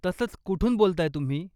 तसंच, कुठून बोलताय तुम्ही?